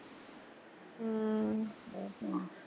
ਹਮ